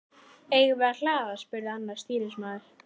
Eigum við að hlaða? spurði annar stýrimaður.